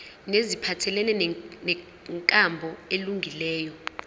neziphathelene nenkambo elungileyo